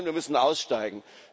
Nein, wir müssen aussteigen.